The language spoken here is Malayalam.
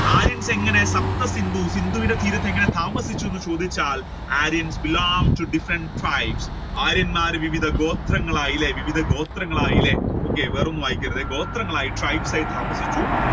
ആര്യൻ എങ്ങനെ ഇന്ദു ഇന്ദുവുടെ തീരത്ത് എങ്ങനെ താമസിച്ചു എന്ന് ചോദിച്ചാൽ Aryans belong to different tribes ആര്യന്മാർ വിവിധ ഗോത്രങ്ങളായി അല്ലെ വിവിധ ഗോത്രങ്ങളായി അല്ലെ okay വേറെ ഒന്നും വായിക്കരുത് ഗോത്രങ്ങളായി tribes ആയി താമസിച്ചു.